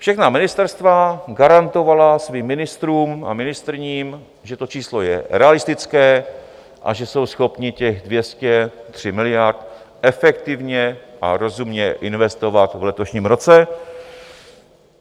Všechna ministerstva garantovala svým ministrům a ministryním, že to číslo je realistické a že jsou schopni těch 203 miliard efektivně a rozumně investovat v letošním roce.